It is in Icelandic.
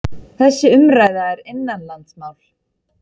Þessi umræða er innanlandsmál